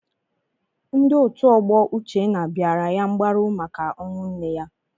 Ndị otu ọgbọ Uchenna bịara ya mgbaru maka ọnwụ nne ya.